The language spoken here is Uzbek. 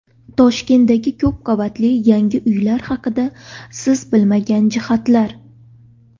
Toshkentdagi ko‘p qavatli yangi uylar haqida siz bilmagan jihatlar.